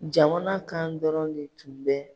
Jamana kan dɔrɔnw de tun bɛ